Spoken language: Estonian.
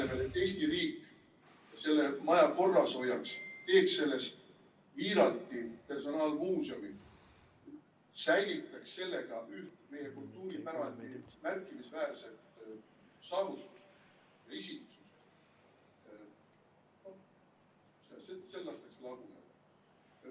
Selle asemel, et Eesti riik selle maja korras hoiaks, teeks sellest Wiiralti personaalmuuseumi, säilitaks sellega üht meie kultuuripärandi märkimisväärset saavutust ......